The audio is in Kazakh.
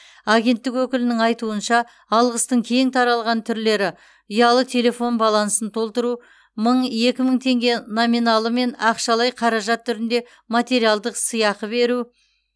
агенттік өкілінің айтуынша алғыстың кең таралған түрлері ұялы телефон балансын толтыру мың екі мың теңге номиналымен ақшалай қаражат түрінде материалдық сыйақы беру